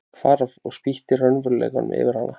Hvarf og spýtti raunveruleikanum yfir hana.